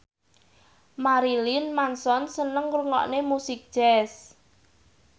Marilyn Manson seneng ngrungokne musik jazz